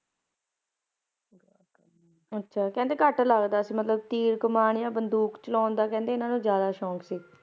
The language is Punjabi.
ਅੱਛਾ ਕਹਿੰਦੇ ਘੱਟ ਲਗਦਾ ਸੀ ਤੀਰ ਕਮਾਨ ਤੇ ਬੰਦੂਕ ਚਲਾਉਣ ਦਾ ਕਹਿੰਦੇ ਇਨਾਂ ਨੂੰ ਜ਼ਿਆਦਾ ਸ਼ੌਂਕ ਸੀ